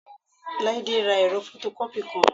Láídé ra ẹ̀rọ fọtọkọ́pì kan